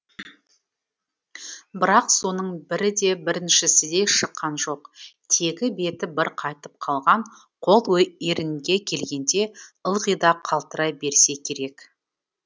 бірақ соның бірі де біріншісіндей шыққан жоқ тегі беті бір қайтып қалған қол ерінге келгенде ылғи да қалтырай берсе керек